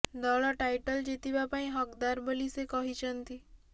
ଦଳ ଟାଇଟଲ ଜିତିବା ପାଇଁ ହକଦାର ବୋଲି ସେ କହିଛନ୍ତି